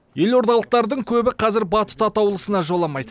елордалықтардың көбі қазір батут атаулысына жоламайды